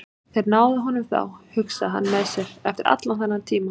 Þeir náðu honum þá, hugsaði hann með sér, eftir allan þennan tíma.